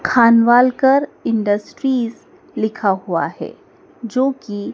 Khanwalkar industries लिखा हुआ है जो की--